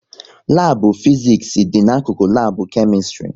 Labu Fiziks dị n'akụkụ lab Kemistri